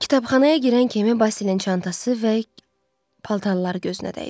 Kitabxanaya girən kimi Basilin çantası və paltarları gözünə dəydi.